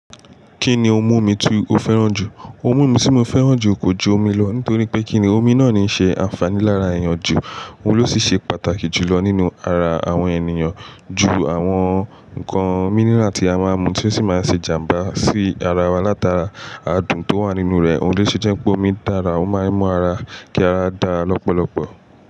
Kí ni ohun mímu ti o fẹ́ràn jù? Ohun mímu tí mo fẹ́ràn jù kò ju omi lọ nítorí pé kíni omi náà ní í ṣe ànfàní lára èèyàn jù. Òun ló sì ṣe pàtàkì jù lọ nínú ara àwọn ènìyàn ju àwọn ǹkan mínírà tí a máa ń mu tí ó sì máa ń ṣe ìjàmbá sí ara wa látara adùn tó wà nínú rẹ̀. Òun ló ṣe jẹ́ pé omi dára, ó máa ń mú ara kí ara dára lọ́pọ̀lọpọ̀.